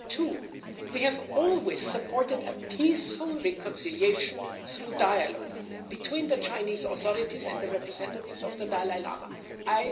Secondly, we have always supported a peaceful reconciliation through dialogue between the Chinese authorities and the Dalai Lama's representatives.